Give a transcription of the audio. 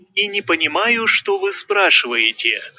я не понимаю что вы спрашиваете